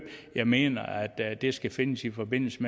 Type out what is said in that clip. jeg mener at det skal findes i forbindelse